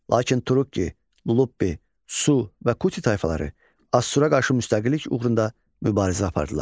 Lakin Turukki, Lulubbi, Su və Kuti tayfaları Assura qarşı müstəqillik uğrunda mübarizə apardılar.